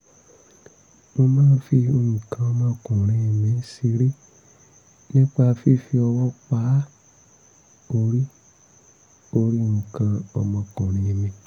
mo máa ń fi nǹkan ọmọkùnrin mi ṣeré nípa fífi ọwọ́ pa orí orí nǹkan ọmọkùnrin mi